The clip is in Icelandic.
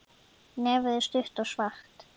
Nefið er stutt og svart.